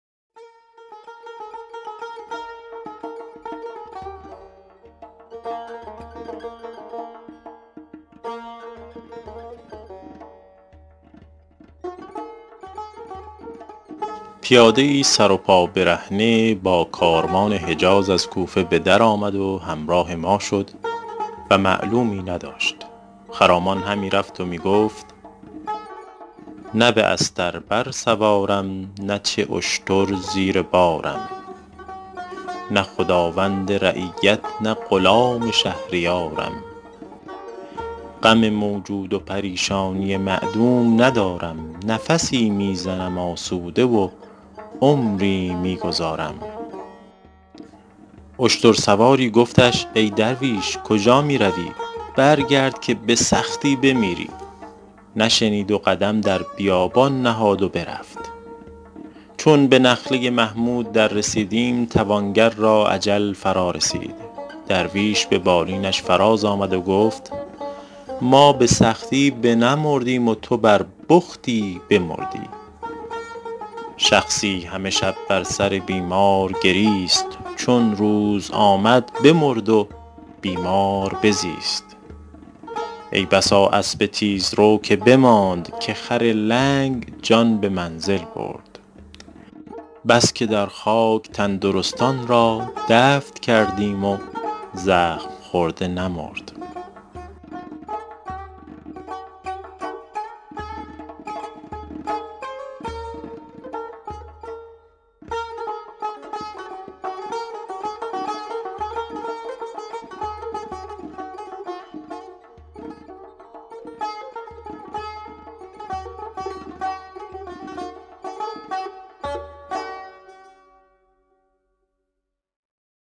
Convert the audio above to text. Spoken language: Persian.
پیاده ای سر و پا برهنه با کاروان حجاز از کوفه به در آمد و همراه ما شد و معلومی نداشت خرامان همی رفت و می گفت نه به استر بر سوارم نه چو اشتر زیر بارم نه خداوند رعیت نه غلام شهریارم غم موجود و پریشانی معدوم ندارم نفسی می زنم آسوده و عمری می گذارم اشتر سواری گفتش ای درویش کجا می روی برگرد که به سختی بمیری نشنید و قدم در بیابان نهاد و برفت چون به نخله محمود در رسیدیم توانگر را اجل فرا رسید درویش به بالینش فراز آمد و گفت ما به سختی بنمردیم و تو بر بختی بمردی شخصی همه شب بر سر بیمار گریست چون روز بشد بمرد و بیمار بزیست ای بسا اسب تیزرو که بماند که خر لنگ جان به منزل برد بس که در خاک تندرستان را دفن کردیم و زخم خورده نمرد